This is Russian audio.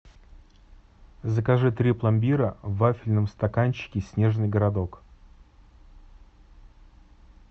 закажи три пломбира в вафельном стаканчике снежный городок